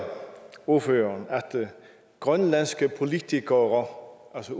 ordføreren at grønlandske politikere altså